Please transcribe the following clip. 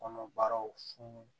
Kɔnɔbaraw funun